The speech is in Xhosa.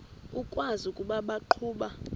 ukwazi ukuba baqhuba